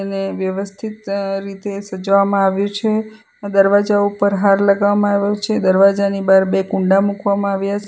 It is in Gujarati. ને વ્યવસ્થિત રીતે સજાવામાં આવ્યું છે દરવાજા ઉપર હાર લગાવામાં આવ્યો છે દરવાજાની બાર બે કુંડા મુકવામાં આવ્યા --